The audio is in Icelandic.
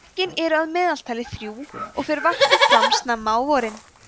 eggin eru að meðaltali þrjú og fer varpið fram snemma á vorin